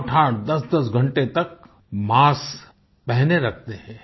आठआठ दसदस घंटे तक मास्क पहने रखते हैं